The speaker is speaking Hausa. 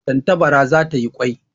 Tantabara za ta yi kwai